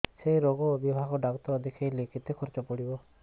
ସେଇ ରୋଗ ବିଭାଗ ଡ଼ାକ୍ତର ଦେଖେଇଲେ କେତେ ଖର୍ଚ୍ଚ ପଡିବ